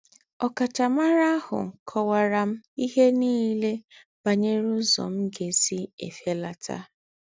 Ọ̀káchámárà àhù kọ́waárà m íhé nílé bànyèrè úzọ́ m̀ gà-ésí èfélátà.